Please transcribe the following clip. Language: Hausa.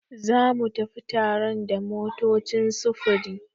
Zamu tafi taron da motocin sufuri.